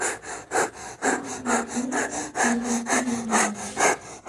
запускай срочно требуется дед мороз